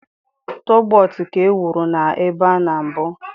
Tọgbot ka e wuru na ebe a na mbụ.